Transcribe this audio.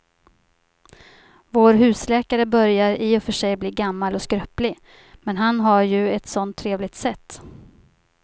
Vår husläkare börjar i och för sig bli gammal och skröplig, men han har ju ett sådant trevligt sätt!